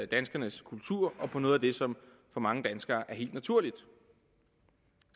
danskernes kultur og på noget af det som for mange danskere er helt naturligt